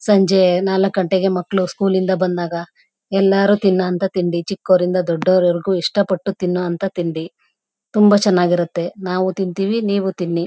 ಸಂಜೆ ನಾಲ್ಕು ಗಂಟೆಗೆ ಮಕ್ಕಳು ಸ್ಕೂಲಿಂದ ಬಂದಾಗ ಎಲ್ಲರೂ ತಿನ್ನು ಅಂತ ತಿಂಡಿ ಚಿಕ್ಕವರಿಂದ ದೊಡ್ಡವರವರೆಗೂ ಇಷ್ಟ ಪಟ್ಟು ತಿನ್ನು ಅಂತ ತಿಂಡಿ ತುಂಬಾ ಚನ್ನಾಗ್ ಇರುತ್ತೆ ನಾವು ತಿಂತೀವಿ ನೀವು ತಿನ್ನಿ.